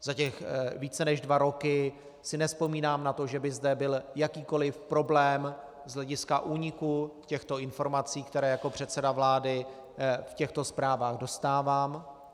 Za ty více než dva roky si nevzpomínám na to, že by zde byl jakýkoliv problém z hlediska úniku těchto informací, které jako předseda vlády v těchto zprávách dostávám.